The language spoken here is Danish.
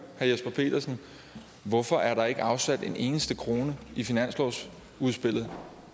jesper petersen hvorfor er der ikke afsat en eneste krone i finanslovsudspillet